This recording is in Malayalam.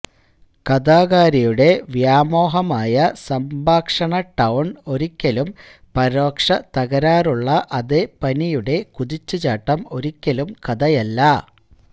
കഥാകാരിയുടെ വ്യാമോഹമായ സംഭാഷണ ടൌൺ ഒരിക്കലും പരോക്ഷ തകരാറുള്ള അതേ പനിയുടെ കുതിച്ചുചാട്ടം ഒരിക്കലും കഥയല്ല